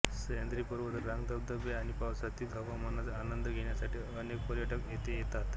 सह्याद्री पर्वत रांग धबधबे आणि पावसाळ्यातील हवामानच आनंद घेण्यासाठी अनेक पर्यटक येथे येतात